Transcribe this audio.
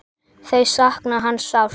Þau sakna hans sárt.